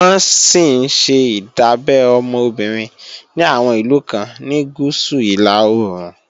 Wọ́n sì ńṣe ìdábẹ́ ọmọ obìnrin ní àwọn ìlú kan ní Gúúsù-Ìlà-oòrùn